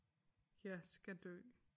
Jeg skal dø